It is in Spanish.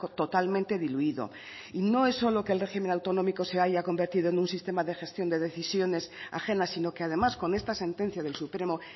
totalmente diluido y no es solo que el régimen autonómico se haya convertido en un sistema de gestión de decisiones ajenas sino que además con esta sentencia del supremo